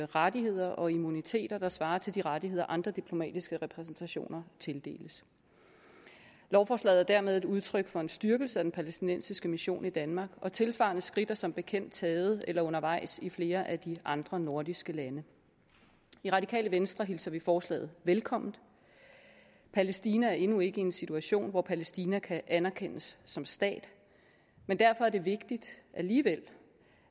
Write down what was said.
rettigheder og immunitet der svarer til de rettigheder som andre diplomatiske repræsentationer tildeles lovforslaget er dermed et udtryk for en styrkelse af den palæstinensiske mission i danmark og tilsvarende skridt er som bekendt taget eller undervejs i flere af de andre nordiske lande i radikale venstre hilser vi forslaget velkommen palæstina er endnu ikke i en situation hvor palæstina kan anerkendes som stat men derfor er det vigtigt alligevel